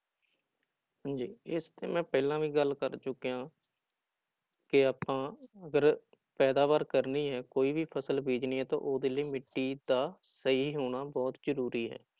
ਹਾਂਜੀ ਇਸਤੇ ਮੈਂ ਪਹਿਲਾਂ ਵੀ ਗੱਲ ਕਰ ਚੁੱਕਿਆਂ ਹਾਂ ਕਿ ਆਪਾਂ ਅਗਰ ਪੈਦਾਵਾਰ ਕਰਨੀ ਹੈ ਕੋਈ ਵੀ ਫ਼ਸਲ ਬੀਜਣੀ ਹੈ ਤਾਂ ਉਹਦੇ ਲਈ ਮਿੱਟੀ ਦਾ ਸਹੀ ਹੋਣਾ ਬਹੁਤ ਜ਼ਰੂਰੀ ਹੈ